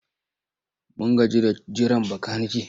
Mun gaji da jiran makanike.